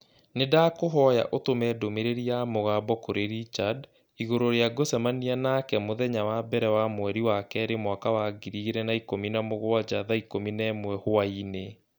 Nĩndakũhoya ũtũme ndũmĩrĩri ya mũgambo kũrĩ Richard igũrũ rĩa ngũcemania nake mũthenya wa mbere wa mweri wa kerĩ mwaka wa ngiri igĩrĩ na ikũmi na mũgwanja thaa ikũmi na ĩmwe hwaĩinĩ